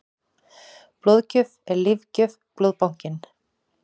Blóðgjöf er lífgjöf- Blóðbankinn.